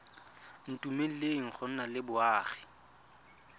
dumeleleng go nna le boagi